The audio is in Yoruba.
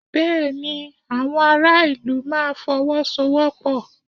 Bẹ́ẹ̀ ni, àwọn ará ìlú máa Fọwọ́sowọ́pọ̀